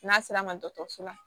N'a sera ma dɔgɔtɔrɔso la